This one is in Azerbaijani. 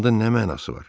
Anda nə mənası var?